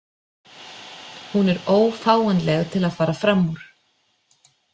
Hún er ófáanleg til að fara fram úr.